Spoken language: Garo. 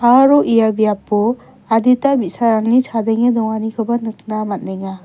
aro ia biapo adita bi·sarangni chadenge donganikoba nikna man·enga.